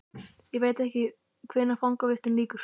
Ég veit ekki hvenær fangavistinni lýkur.